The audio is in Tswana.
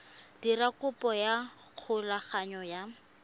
dira kopo ya thulaganyo ya